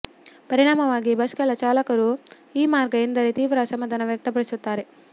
ಪರಿಣಾಮವಾಗಿ ಬಸ್ಗಳ ಚಾಲಕರು ಈ ಮಾರ್ಗ ಎಂದರೆ ತೀವ್ರ ಅಸಮಾಧಾನ ವ್ಯಕ್ತಪಡಿಸುತ್ತಾರೆ